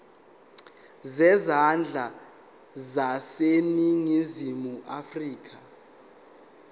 zezandla zaseningizimu afrika